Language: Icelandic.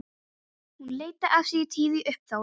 Hún leiddi af sér tíð uppþot.